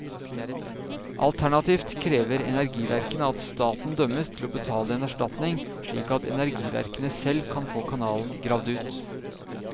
Alternativt krever energiverkene at staten dømmes til å betale en erstatning slik at energiverkene selv kan få kanalen gravd ut.